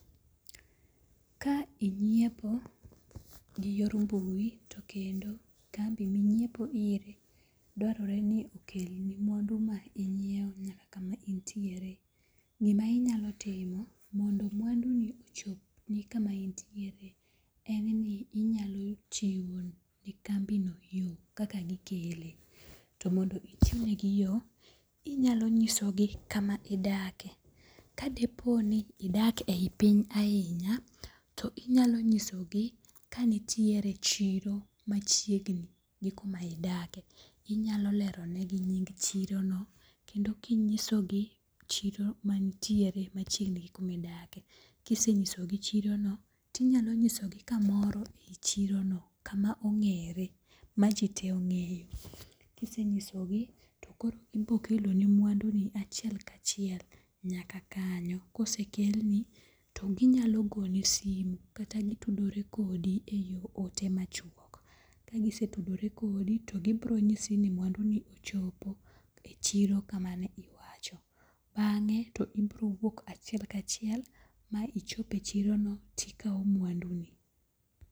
Ka inyiepo gi yor mbui to kendo kambi minyiepo ire dwarore ni okelni mwandu ma inyiew nyaka kama intiere, gima inyalo timo mondo mwandu ni ochop kama intiere, en ni inyalo chiwo ne kambi no yo kaka gikele. To mondo ichiw ne gi yo, inyalo nyisogi kama idake. Kadipo ni idak e yi piny ahinya, inyalo nyisogi ka nitiere chiro machiegni gi kuma idake. Inyalo lero ne gi nying chirono no kendo kinyisogi chiro mantiere machiegni gi kumidake. Kisechisogi chiro no, tinyalo nyisogi kamoro eyi chirono kama ong'ere ma ji te ong'eyo. Kisenyisogi to koro gibiro keloni mwandu ni achiel ka achiel nyaka kanyo. Kosekelni to ginyalogoni simo kata gitudore kodi e yo ote machuok. Kagisetudore kodi to girobonyisi ni mwanduni ochopo e chiro kama ne iwacho. Bang'e to ibiro wuok achiek kachiel ma ichope e chiro no to ikawo mwanduni.